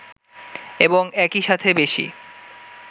এবং একই সাথে বেশী